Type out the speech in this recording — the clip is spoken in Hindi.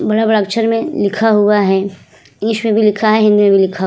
बड़े-बड़े अक्षर में लिखा हुवा है इंग्लिश में भी लिखा है हिंदी में भी लिखा --